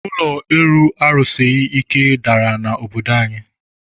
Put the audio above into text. Ụlọ elu a rusighi ike dàrà na obodo anyi